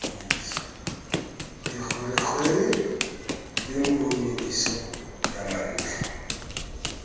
dikgwerekgwere le monyediso ya mantle